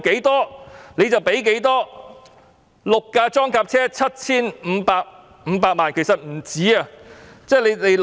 六部裝甲車 7,500 萬元，其實不止這數目。